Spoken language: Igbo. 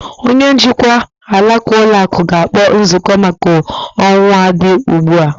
Onye njikwa alaka ụlọ akụ ga-akpọ nzukọ maka okwu a dị ugbu a.